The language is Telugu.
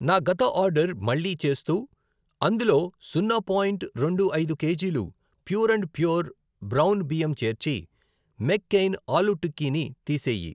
నా గత ఆర్డర్ మళ్ళీ చేస్తూ అందులో సున్నా పాయింట్ రెండు ఐదు కేజీలు ప్యూర్ అండ్ ష్యూర్ బ్రౌన్ బియ్యం చేర్చి మెక్ కెయిన్ ఆలూ టిక్కీ ని తీసేయి. .